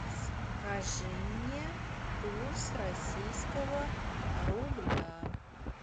скажи мне курс российского рубля